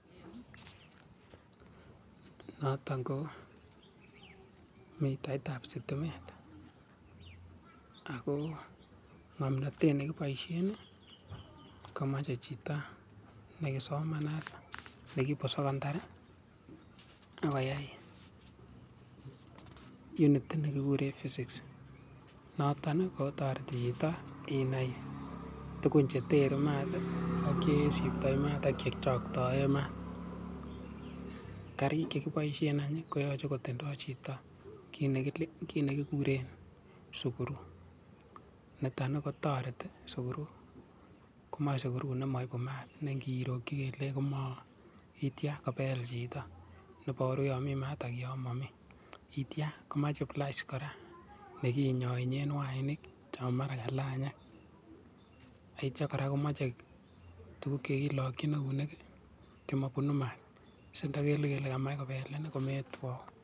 Noton ko mitaiitab sitimet ako ngomnotet nekipoishen komachei chito nesomanat nekiwo sekondari ako yai unit nekikure Physics notok kotoreti chito inai tuguk cheterchinat cheisiptoi maat ak che choktoen maat. Kariik che kipoishen inen koyache kotindoi chito kiit nekikure screw niton kotereti sukuru komae sukuru nemaipe maat nengiri kole koma ityo kopeel chito, neiparu yon mi maat ako yon mami, itya komae pliers kora nekinyoen wainik chepore kalanyikei, nityo kora komachei tuguk chekilakchini eunik chemabunei maat sindakelu kole komae kopelini kometwau.